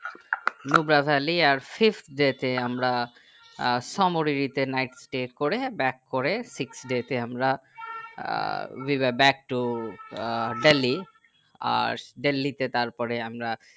লু বাধার লিয়ার six day তে আমরা আহ সোমোরিয়েতে night stay করে back করে six day তে আমরা ah we are back to ah Delhi আর দিল্লি তে তারপর আমরা